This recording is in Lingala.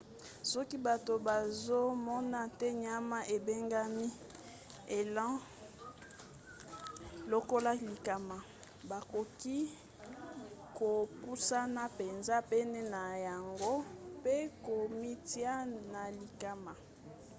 soki bato bazomona te nyama ebengami elan lokola likama bakoki kopusana mpenza pene na yango mpe komitia na likama